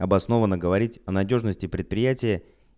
обосновано говорить о надёжности предприятия